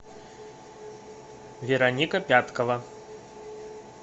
вероника пяткова